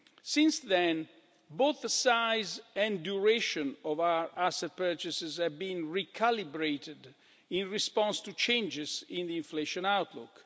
Since then, both the size and duration of our asset purchases have been recalibrated in response to changes in the inflation outlook.